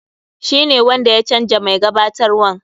Shi ne wanda ya canja mai gabatarwan.